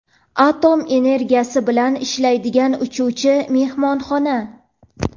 atom energiyasi bilan ishlaydigan uchuvchi mehmonxona.